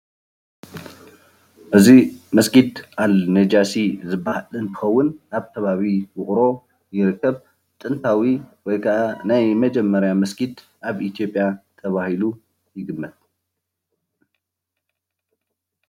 እዚ መስጊድ አልነጋሺ ዝበሃል እንትኸውን ኣብ ከባቢ ውቅሮ ይርከብ ።ጥንታዊ ወይ ከዓ ናይ መጀመርያ መስጊድ ኣብ ኢ/ያ ተባሂሉ ይግመት፡፡